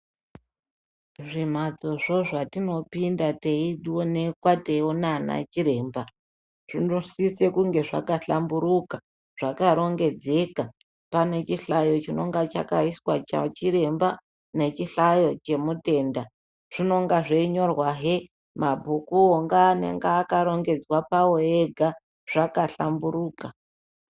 Zvimhatsozvo zvatinopinda teionekwa teiona ana chiremba zvinosisa kunge zvakahlamburuka, zvakarongedzeka pane chihlayo chinonga chakaiswa chachiremba nechihlayo chemutemda , zvinonga zveinyorwaheabhukuwo ngeanenge akarongedzwa pawo ega zvabahlamburuka.